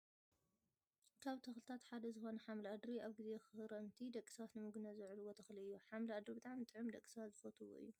ካብ ተክልታት ሓደ ዝኮነ ሓምሊ ኣድሪ ኣብ ግዜ ክረምቲ ደቂ ሰባት ንምግብነት ዘውዕልዎ ተክሊ እዩ። ሓምሊ ኣድሪ ብጣዕሚ ጥዑም ደቂ ሰባት ዝፈትውዎ እዮ።